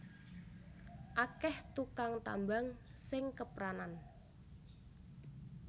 Akeh tukang tambang sing kepranan